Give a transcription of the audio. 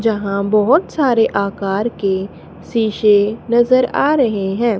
जहां बहोत सारे आकर के शीशे नजर आ रहे हैं।